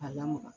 A lamaga